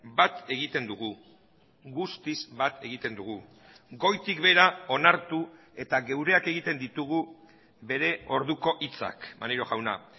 bat egiten dugu guztiz bat egiten dugu goitik behera onartu eta geureak egiten ditugu bere orduko hitzak maneiro jauna